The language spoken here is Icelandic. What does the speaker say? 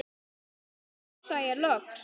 tafsa ég loks.